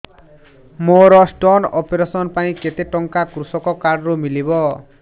ମୋର stone operation ପାଇଁ କେତେ ଟଙ୍କା କୃଷକ କାର୍ଡ ରୁ ମିଳିବ